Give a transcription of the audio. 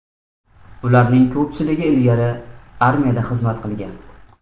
Ularning ko‘pchiligi ilgari armiyada xizmat qilgan.